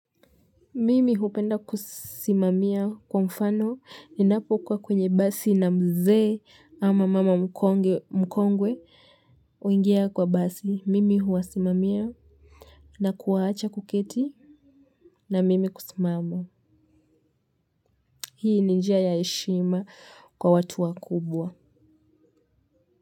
Mimi hupenda kusimamia kwa mfano ninapo kuwa kwenye basi na mzee ama mama mkongwe huingia kwa basi. Mimi huwasimamia na kuwaacha kuketi na mimi kusimama. Hii ni njia ya heshima kwa watu wakubwa.